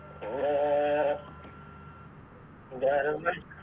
ഏർ ഇന്റെ വേരെന്തെ